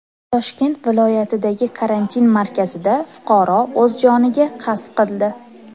Toshkent viloyatidagi karantin markazida fuqaro o‘z joniga qasd qildi.